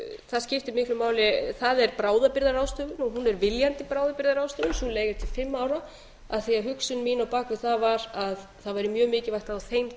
það skiptir miklu máli það er bráðabirgðaráðstöfun hún er viljandi bráðabirgðaráðstöfun sú leiga er til fimm ára af því hugsun mín á bak við það var að það væri mjög mikilvægt á þeim